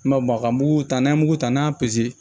N ma ka mugu ta n'a ye mugu ta n'a y'a